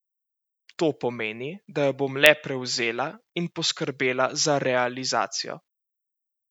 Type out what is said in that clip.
To pomeni, da jo bom le prevzela in poskrbela za realizacijo.